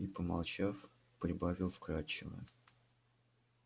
и помолчав прибавил вкрадчиво